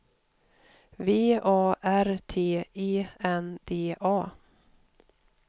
V A R T E N D A